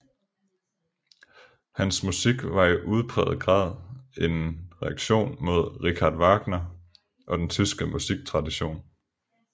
Hans musik var i udpræget grad en reaktion mod Richard Wagner og den tyske musiktradition